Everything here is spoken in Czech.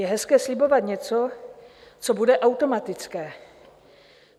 Je hezké slibovat něco, co bude automatické.